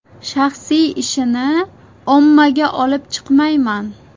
Shaxsiy ishini ommaga olib chiqmayman.